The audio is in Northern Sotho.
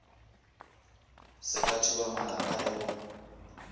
se ka thubamalapa le go